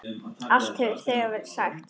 Allt hefur þegar verið sagt.